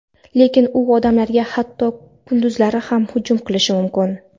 Lekin u odamlarga hatto kunduzlari ham hujum qilishi mumkin.